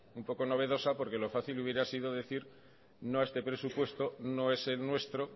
un poco novedosa porque lo fácil hubiera sido decir no a este presupuesto no es el nuestro